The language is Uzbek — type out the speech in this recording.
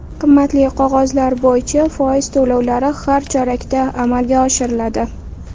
Qimmatli qog‘ozlar bo‘yicha foiz to‘lovlari har chorakda amalga oshiriladi.